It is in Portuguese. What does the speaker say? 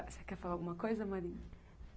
Você quer falar alguma coisa, Marina?